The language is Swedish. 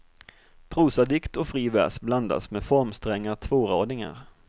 Prosadikt och fri vers blandas med formstränga tvåradingar.